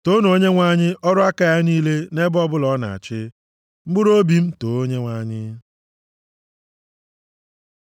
Toonu Onyenwe anyị, ọrụ aka ya niile nʼebe ọbụla ọ na-achị. Mkpụrụobi m, too Onyenwe anyị.